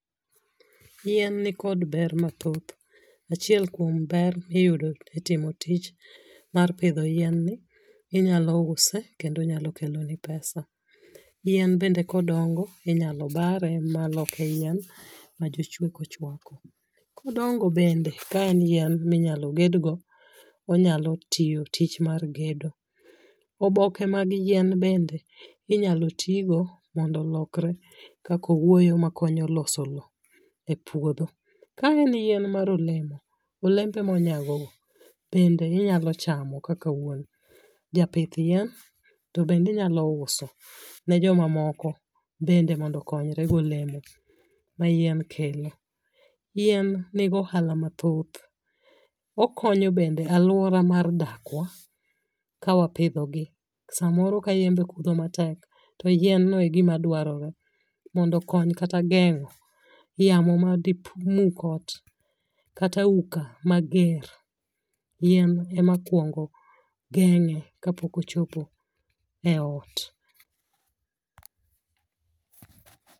Yien ni kod ber mathoth. Achiel kuom ber miyudo e timo tich mar pidho yien ni inyalo use kendo onyalo kelo ni pesa. Yien bende kodongo inyalo bare maloke yien ma jochweko chwako. Kodongo bende ka en yien minyalo ged go onyalo tiyo tich mar gedo. Oboke mag yien bende inyalo tigo mondo olokre kaka owuoyo makonyo loso lo e puodho. Ka en yien mar olemo, olembe monyago go bende inyalo chamo kaka wuon japith yien. To bende inyalo uso ne joma moko bende mondo konyre golembe ma yien kelo. Yien nigohala mathoth. Okonyo bende aluora mar dakwa kawapidho gi. Samoro ka yembe kudho matek to yien no e gima dwarore mondo okonyo kata geng'o yamo made muk ot kata auka mager yien ema kuongo geng'e kapok ochopo e ot.